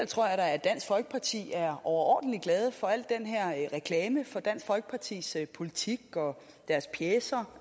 tror jeg da at dansk folkeparti er overordentlig glade for al den her reklame for dansk folkepartis politik og deres pjecer